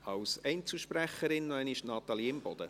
Als Einzelsprecherin noch einmal Natalie Imboden.